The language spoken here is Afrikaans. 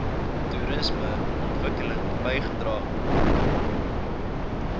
toerisme ontwikkeling bygedra